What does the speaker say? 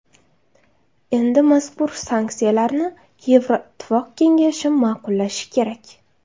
Endi mazkur sanksiyalarni Yevroittifoq kengashi ma’qullashi kerak.